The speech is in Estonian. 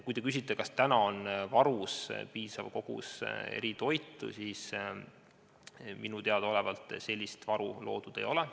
Kui te küsite, kas täna on varuks piisav kogus eritoitu, siis minule teadaolevalt sellist varu loodud ei ole.